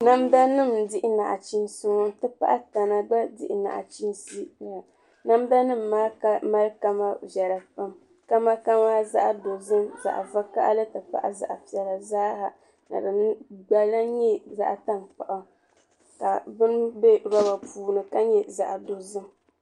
Namda nim n dihi machiinsi ŋɔ n ti pahi tana gba n dihi nachiinsi ʒɛya namda nim maa mali kama viɛla pam kama zaɣ dozim zaɣ vakaɣali ti pahi zaɣ piɛla zaaha ni din gba lahi nyɛ zaɣ tankpaɣu ka shɛŋa lahi bɛ roba puuni ka nyɛ zaɣ dozim